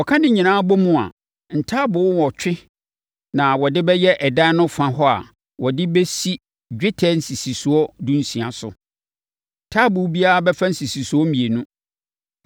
Wɔka ne nyinaa bom a, ntaaboo wɔtwe na wɔde bɛyɛ ɛdan no fa hɔ a wɔde bɛsisi dwetɛ nsisisoɔ dunsia so. Taaboo biara bɛfa nsisisoɔ mmienu.